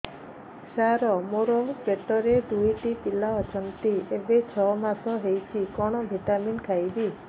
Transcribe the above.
ସାର ମୋର ପେଟରେ ଦୁଇଟି ପିଲା ଅଛନ୍ତି ଏବେ ଛଅ ମାସ ହେଇଛି କଣ ଭିଟାମିନ ଖାଇବି